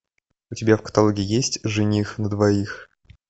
у тебя в каталоге есть жених на двоих